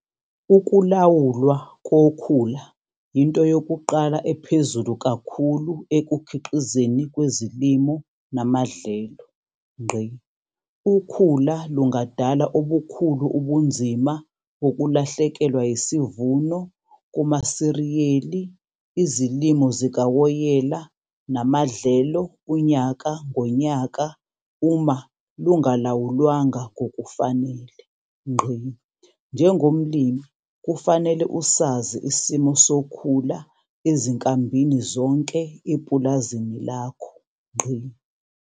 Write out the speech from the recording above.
UKULAWULWA KOKHULA YINTO YOKUQALA EPHEZULU KAKHULU EKUKHIQIZWENI KWEZILIMO NAMADLELO. UKHULA LUNGADALA OBUKHULU UBUNZIMA BOKULAHLEKELWA YISIVUNO KUMASIRIYELI IZILIMO ZIKAWOYELA NAMADLELO UNYAKA NGONYAKA UMA LUNGALAWULWANGA NGOKUFANELE. NJENGOMLIMI KUFANELE USAZI ISIMO SOKHULA EZINKAMBINI ZONKE EPULAZINI LAKHO.